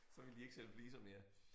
Så ville de ikke sælge fliser mere